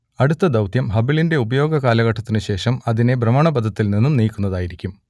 അടുത്ത ദൗത്യം ഹബിളിന്റെ ഉപയോഗ കാലഘട്ടത്തിനു ശേഷം അതിനെ ഭ്രമണപഥത്തിൽ നിന്നും നീക്കുന്നതിനായിരിക്കും